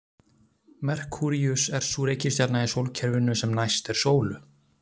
Merkúríus er sú reikistjarna í sólkerfinu sem næst er sólu.